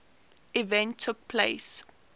event took place